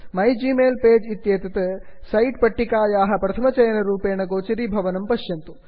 पश्यन्तु माइग्मेल्पेज मै Gmail page इत्येतत् सूच्याः प्रथमचयनरूपेण गोचरीभवति